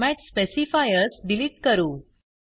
format specifiers delete करू